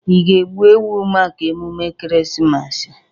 Ị ga-egbu ewu maka emume Ekeresimesi a?